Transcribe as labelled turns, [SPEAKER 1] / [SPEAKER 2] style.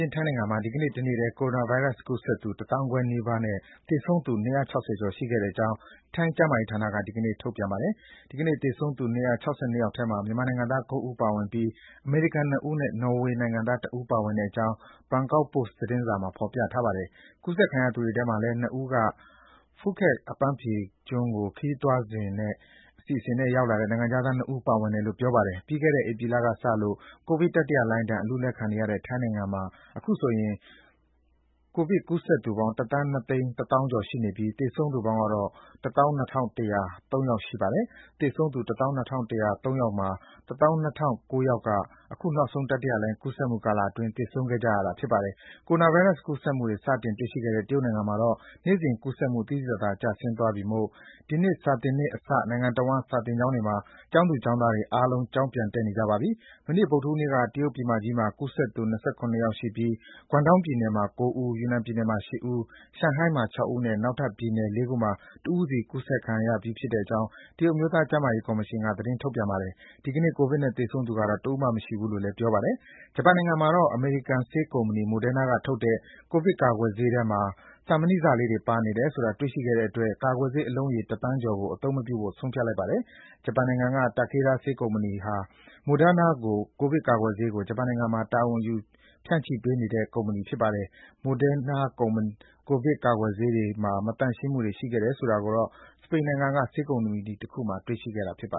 [SPEAKER 1] ျင်းထိုင်းနိုင်ငံမှာ ဒီကနေ့ တနေ့တည်း ကိုရိုနာဗိုင်းရပ်စ်ကူးစက်သူ ၁၅,၀၀၀ နီးပါးနဲ့ သေဆုံးသူ ၂၆၀ ကျော်ရှိတဲ့အကြောင်း ထိုင်းကျန်းမာရေးဌာနက ဒီကနေ့ ထုတ်ပြန်ပါတယ်။ ဒီကနေ့ သေဆုံးသူ ၂၆၂ ယောက်ထဲမှာ မြန်မာနိုင်ငံသား ၉ ဦး ပါဝင်ပြီး အမေရိကန် နှစ်ဦးနဲ့ နော်ဝေနိုင်ငံသားတဦး ပါဝင်တဲ့အကြောင်း ဘန်ကောက်ပို့စ်သတင်းစာမှာ ဖော်ပြထားပါတယ်။ ကူးစက်ခံရသူတွေထဲမှာလည်း နှစ်ဦးက ဖူးခက်အပန်းဖြေကျွန်းကို ခရီးသွားအစီအစဉ်နဲ့ ရောက်လာတဲ့ နိုင်ငံခြားသားနှစ်ဦး ပါဝင်တယ်လို့ ပြောပါတယ်။ ပြီးခဲ့ဲတဲ့ ဧပြီလကစလို့ ကိုဗစ်တတိယလှိုင်းဒဏ် အလူးအလဲခံနေရတဲ့ ထိုင်းနိုင်ငံမှာ အခုဆိုရင် ကူးစက်သူပေါင်း ၁,၂၁၀,၀၀၀ ကျော် ရှိနေပြီး သေဆုံးသူပေါင်းက ၁၂,၁၀၃ ယောက် ရှိပါတယ်။ ဒီသေဆုံးသူတွေထဲမှာ ၁၂,၀၀၉ ယောက်က အခုနောက်ဆုံး တတိယလှိုင်းကူးစက်မှုကာလအတွင်း သေဆုံးခဲ့ကြတာဖြစ်ပါတယ်။ ကိုရိုနာဗိုင်းရပ်စ်ကူးစက်မှုတွေ စတင် တွေ့ရှိခဲ့တဲ့ တရုတ်နိုင်ငံမှာတော့ နေ့စဉ်ကူးစက်မှု သိသိသာသာ ကျဆင်းသွားပြီမို့ ဒီနှစ်စာသင်နှစ်အစ နိုင်ငံတဝန်း စာသင်ကျောင်းတွေမှာ ကျောင်းသူကျောင်းသားတွေ ားလုံး ကျောင်းပြန်တက်နေကြပါပြီ။ မနေ့က ဗုဒ္ဓဟူးနေ့က တရုတ်ပြည်မကြီးမှာ ကူးစက်သူ ၂၇ ယောက်ရှိပြီး ဂွမ်ဒေါင်းပြည်နယ်မှာ ၉ ဦး၊ ယူနန်မှာ ၈ ဦး၊ ရှန်ဟိုင်းမှာ ၆ ဦးနဲ့ နောက်ထပ် ပြည်နယ် ၄ ခုမှာ တဦးစီ ကူးစက်ခံရတာဖြစ်တဲ့အကြောင်း တရုတ် အမျိုးသားကျန်းမာရေး ကော်မရှင်က ထုတ်ပြန်ထားပါတယ်။ ဒီကနေ့ ကိုဗစ်နဲ့ သေဆုံးသူတော့ တဦးမှမရှိဘူးလို့ ကျန်းမာရေးကော်မရှင်က ပြောပါတယ်။ ဂျပန်နိုင်ငံမှာတော့ အမေရိကန် ဆေးကုမ္ပဏီ Moderna က ထုတ်တဲ့ ကိုဗစ်ကာကွယ်ဆေးတွေထဲမှာ သံမဏိစလေးတွေ ပါနေတယ်ဆိုတာ တွေ့ရှိခဲ့တဲ့အတွက် ကာကွယ်ဆေးအလုံးရေ တသန်းကျော်ကို အသုံးမပြုဖို့ ဆုံးဖြတ်လိုက်ပါတယ်။ ဂျပန်နိုင်ငံက Takeda ဆေးကုမ္ပဏီဟာ Moderna ကိုဗစ်ကာကွယ်ဆေးကို ဂျပန်နိုင်ငံမှာ တာဝန်ယူ ဖြန့်ချိပေးနေတာ ဖြစ်ပါတယ်။ Moderna ကိုဗစ် ကာကွယ်ဆေးတွေမှာ မသန့်ရှင်းမှုတွေ ရှိခဲ့တယ်ဆိုတာကိုတော့ စပိန်နိုင်ငံက ဆေးထုတ်လုပ်တဲ့ ကုမ္ပဏီတခုက ကနဦး စတင်တွေ့ရှိခဲ့တာပါ